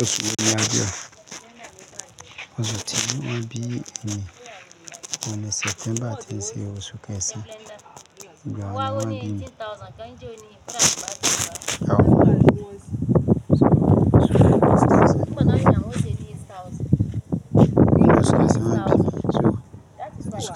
Oṣù wo ni a bẹrẹ? Oṣù tí wọ́n bí mi ni, òní September ti n sẹ̀ osu kesan oṣù